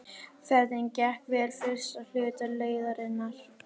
Ferðin gekk vel fyrsta hluta leiðarinnar.